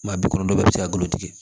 Maa bi kɔnɔntɔn bɛɛ bɛ se ka golo tigɛ